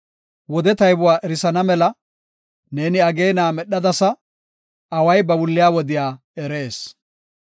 Wode taybuwa erisana mela, ne ageena medhadasa; away ba wulliya wodiya erees.